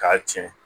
K'a tiɲɛ